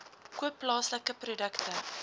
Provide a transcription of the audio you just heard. koop plaaslike produkte